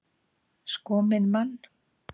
Sko minn mann!